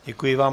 Děkuji vám.